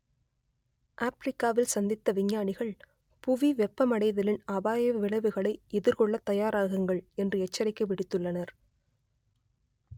ஆப்பிரிக்காவில் சந்தித்த விஞ்ஞானிகள் புவி வெப்பமடைதலின் அபாய விளவுகளை எதிர்கொள்ளத் தயாராகுங்கள் என்று எச்சரிக்கை விடுத்துள்ளனர்